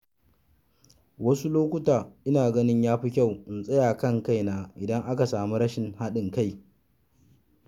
Wasu lokuta ina ganin ya fi kyau in tsaya kan kaina idan aka sami rashin haɗin kai.